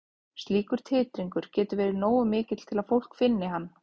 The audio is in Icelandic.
Slíkur titringur getur verið nógu mikill til að fólk finni hann.